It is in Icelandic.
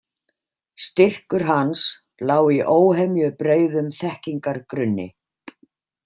Styrkur hans lá í óhemjubreiðum þekkingargrunni.